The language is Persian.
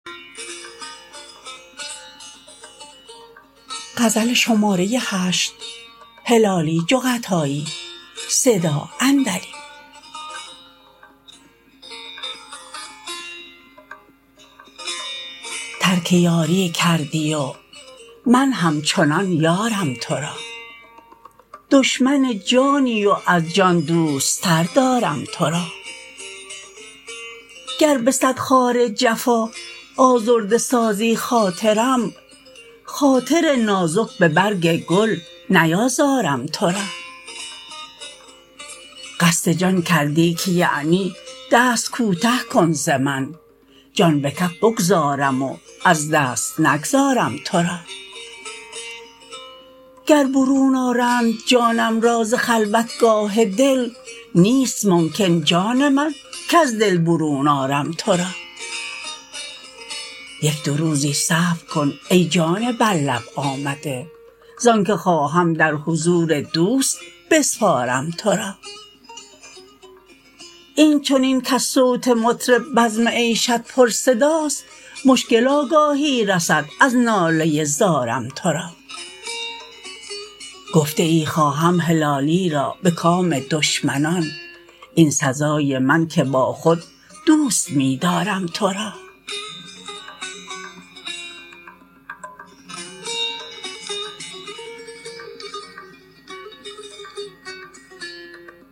ترک یاری کردی و من همچنان یارم تو را دشمن جانی و از جان دوست تر دارم تو را گر به صد خار جفا آزرده سازی خاطرم خاطر نازک به برگ گل نیازارم تو را قصد جان کردی که یعنی دست کوته کن ز من جان به کف بگذارم و از دست نگذارم تو را گر برون آرند جانم را ز خلوتگاه دل نیست ممکن جان من کز دل برون آرم تو را یک دو روزی صبر کن ای جان بر لب آمده زان که خواهم در حضور دوست بسپارم تو را این چنین کز صوت مطرب بزم عیشت پر صداست مشکل آگاهی رسد از ناله ی زارم تو را گفته ای خواهم هلالی را به کام دشمنان این سزای من که با خود دوست می دارم تو را